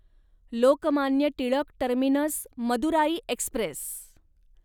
Lokmanya Tilak terminus Madurai Express